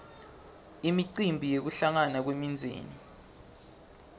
imicimbi yekuhlangana kwemindzeni